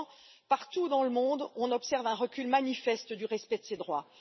Et pourtant, partout dans le monde, nous observons un recul manifeste du respect de ces droits.